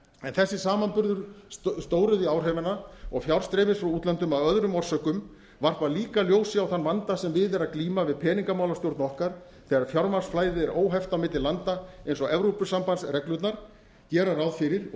en þessi samanburður stóriðjuáhrifanna og fjárstreymis frá útlöndum af öðrum orsökum varpa líka ljósi á þann vanda sem við er að glíma við peningamálastjórn okkar þegar fjármagnsflæði er óheft á milli landa eins og evrópusambandsreglurnar gera ráð fyrir og